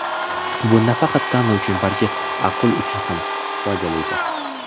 Bu nafaqat tana uchun, balki aql uchun ham foydalidir.